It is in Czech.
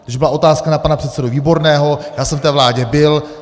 Když byla otázka na pana předsedu Výborného, já jsem v té vládě byl.